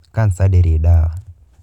Kansa ndĩrĩ ndawa.